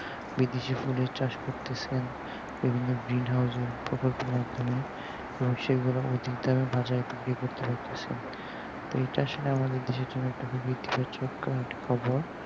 বাকি যে ফুলের চাষ করতেছেন এগুলো green house এর প্রকল্প মাধ্যমে তো সেগুলো অধিক দামে বাজারে বিক্রি করতে পারতাছেন তো এই চাষ আমাদের দেশের জন্য একটা খুবই খবর